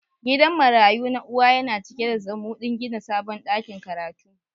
Gidan marayu na uwa yana cike da zumudin gina sabon dakin karatu.